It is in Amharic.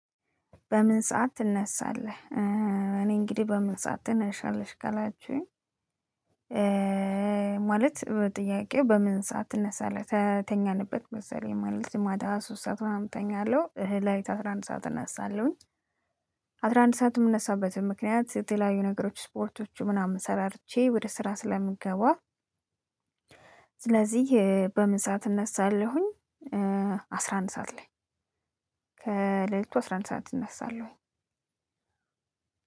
በምን ሰዓት ትነሳለህ? እኔ እንግዲህ በምን ሰዓት ትነሻለሽ ከላችሁኝ። ማለት ጥያቄው በምን ሰዓት ትነሳለህ? ተተኛንበት መሰለኝ ላይ ማለት ማታ ሶስት ሰዓት ምናምን እተኛለሁ ለሊቱ አስራ አንድ ሰዓት እናሳለሁኝ። አስራ አንድ ሰዓት የምነሳበትም ምክንያት የተለያዩ ነገሮች ስፖርቶቹ ምናምን ሰራርቼ ወደ ስራ ስለምገባ። ስለዚህ በምን ሰዓት እነሳለሁኝ። አስራ አንድ ሰዓት ላይ። ከሌሊቱ አስራ አንድ ሰዓት እነሳለሁኝ።